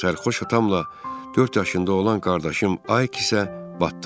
Sərxoş atamla dörd yaşında olan qardaşım Ayıq isə batdılar.